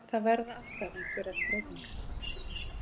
Það verða alltaf einhverjar breytingar.